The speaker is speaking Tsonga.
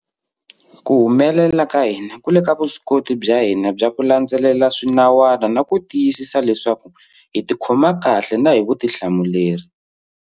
Ku humelela ka hina ku le ka vuswikoti bya hina bya ku landzelela swinawana na ku tiyisisa leswaku hi tikhoma kahle na hi vutihlamuleri.